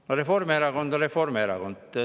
No Reformierakond on Reformierakond.